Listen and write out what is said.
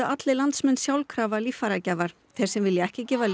allir landsmenn sjálfkrafa líffæragjafar þeir sem vilja ekki gefa